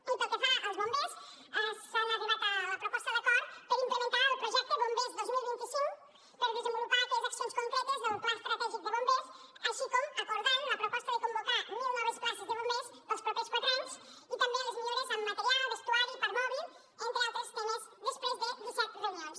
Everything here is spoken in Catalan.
i pel que fa als bombers s’ha arribat a la proposta d’acord per implementar el projecte bombers dos mil vint cinc per desenvolupar aquelles accions concretes del pla estratègic de bombers així com s’ha acordat la proposta de convocar mil noves places de bombers per als propers quatre anys i també les millores en material vestuari i parc mòbil entre altres temes després de disset reunions